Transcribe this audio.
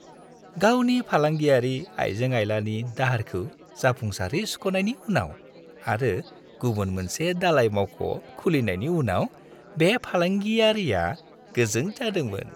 गावनि फालांगियारि आइजें-आइलानि दाहारखौ जाफुंसारै सुख'नायनि उनाव आरो गुबुन मोनसे दालाय-मावख' खुलिनायनि उनाव बे फालांगियारिया गोजों जादोंमोन।